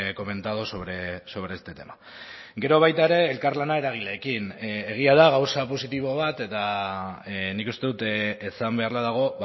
comentado sobre este tema gero baita ere elkarlana eragileekin egia da gauza positibo bat eta nik uste dut esan beharra dago